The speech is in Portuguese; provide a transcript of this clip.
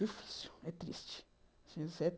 É difícil, é triste.